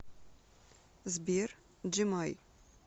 сбер джемай